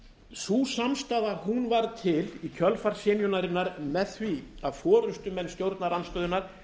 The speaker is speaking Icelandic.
sú samstaða varð til í kjölfar synjunarinnar með því að forustumenn stjórnarandstöðunnar